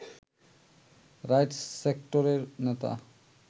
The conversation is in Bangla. রাইট সেক্টরের নেতা